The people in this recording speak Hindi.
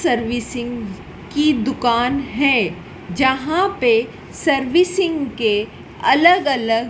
सर्विसिंग कि दुकान है जहां पे सर्विसिंग के अलग अलग--